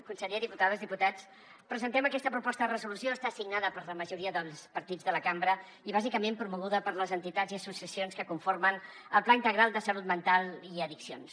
conseller diputades diputats presentem aquesta proposta de resolució està signada per la majoria dels partits de la cambra i bàsicament promoguda per les entitats i associacions que conformen el pla integral de salut mental i addiccions